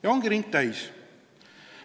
Ja ongi ring täis.